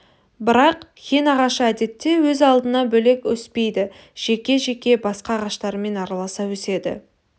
бірақ хин ағашы әдетте өз алдына бөлек өспейді жеке-жеке басқа ағаштармен араласа өседі